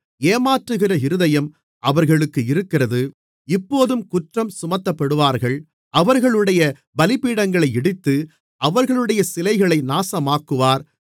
ஏமாற்றுகிற இருதயம் அவர்களுக்கு இருக்கிறது இப்போதும் குற்றம் சுமத்தப்படுவார்கள் அவர்களுடைய பலிபீடங்களை இடித்து அவர்களுடைய சிலைகளை நாசமாக்குவார்